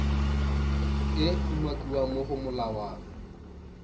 e umakiwang mo go molawana